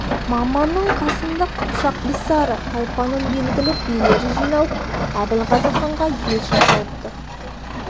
маманның қасында қыпшақ бессары тайпаның белгілі билері жиналып әбілғазы ханға елші салыпты